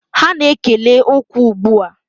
Ha na-ekele okwu ugbu a